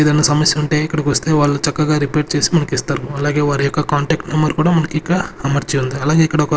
ఏదైనా సమస్య ఉంటే ఇక్కడికి వస్తే వాళ్లు చక్కగా రిపేర్ చేసి మనకు ఇస్తారు అలాగే వారి యొక్క కాంటాక్ట్ నెంబర్ కూడా మనకిక్కడ అమర్చి ఉంది అలాగే ఇక్కడొక--